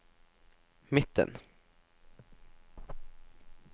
midten